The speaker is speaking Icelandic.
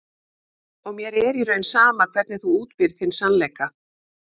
Og mér er í raun sama hvernig þú útbýrð þinn sannleika.